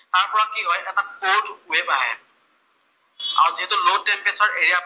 আৰু যিহেতু low temperature area পৰা